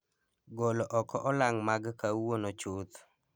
golo oko olang' mag kawuono chuth